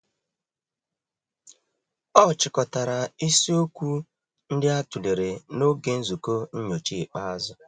Ọ chịkọtara isi okwu ndị a tụlere n'oge nzukọ nnyocha ikpeazụ.